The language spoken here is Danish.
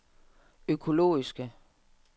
økologiske